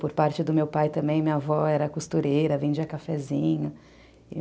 Por parte do meu pai também, minha avó era costureira, vendia cafezinho.